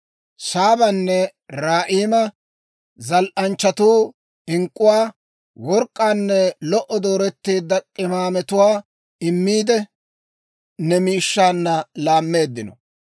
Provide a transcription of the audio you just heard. Saabanne Raa'ima zal"anchchatuu ink'k'uwaa, work'k'aanne lo"o dooretteedda k'imaametuwaa immiide, ne miishshaanna laammeeddino.